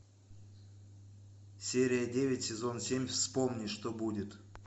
серия девять сезон семь вспомни что будет